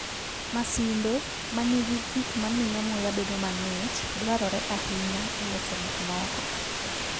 Masinde ma nigi gik ma miyo muya bedo mang'ich dwarore ahinya e loso gik moko.